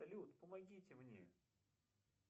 салют помогите мне